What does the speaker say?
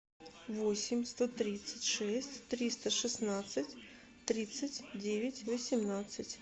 восемь сто тридцать шесть триста шестнадцать тридцать девять восемнадцать